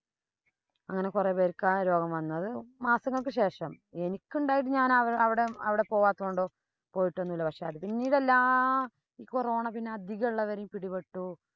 അങ്ങനെ കൊറേ പേര്‍ക്ക് ആ രോഗം വന്നത് മാസങ്ങള്‍ക്ക് ശേഷം എനിക്കുണ്ടായത് ഞാനവിടെ പോവാത്തത് കൊണ്ടോ പോയിട്ടൊന്നും ഇല്ല. പക്ഷേ, അത് പിന്നീടെല്ലാം ഈ corona പിന്നെ അധികമുള്ളവരെയും പിടിപ്പെട്ടു.